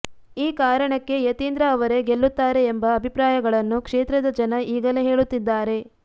ಈ ಕಾರಣಕ್ಕೆ ಯತೀಂದ್ರ ಅವರೇ ಗೆಲ್ಲುತ್ತಾರೆ ಎಂಬ ಅಭಿಪ್ರಾಯಗಳನ್ನು ಕ್ಷೇತ್ರದ ಜನ ಈಗಲೇ ಹೇಳುತ್ತಿದ್ದಾರೆ